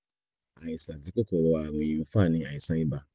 àìsàn tí kòkòrò ààrùn yìí ń fà ni àìsàn ibà